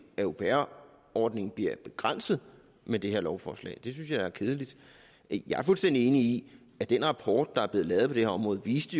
at au pair ordningen bliver begrænset med det her lovforslag det synes jeg er kedeligt jeg er fuldstændig enig i at den rapport der er blevet lavet på det her område jo viste